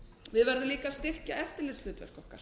við verðum líka að styrkja eftirlitshlutverk okkar